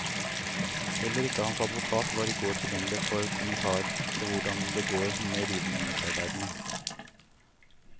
Heller ikke hans advokat var i går tilgjengelig for kommentar til hvordan det går med rivningsarbeidene.